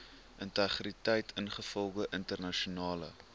integriteit ingevolge internasionale